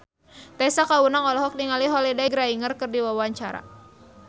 Tessa Kaunang olohok ningali Holliday Grainger keur diwawancara